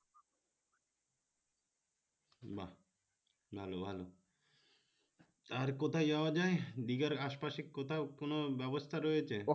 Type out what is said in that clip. বাহ! ভালো ভালো আর কোথায় যাওয়া যায় দীঘার আশ পাশে কথাও কোন ব্যবস্থা রয়েছে